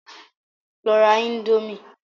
Lọ ra indomie!